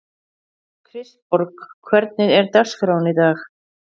Kristborg, hvernig er dagskráin í dag?